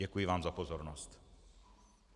Děkuji vám za pozornost.